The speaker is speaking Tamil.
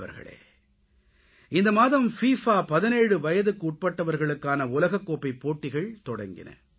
நண்பர்களே இந்த மாதம் பிஃபா 17 வயதுக்குட்பட்டவர்களுக்கான உலகக் கோப்பைப் போட்டிகள் தொடங்கின